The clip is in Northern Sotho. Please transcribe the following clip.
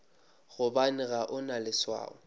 gobane ga o na leswao